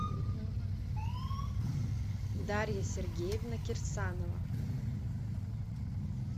дарья сергеевна кирсанова